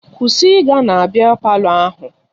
Kwụsị ịga na biya palọ ahụ!